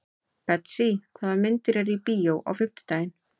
Betsý, hvaða myndir eru í bíó á fimmtudaginn?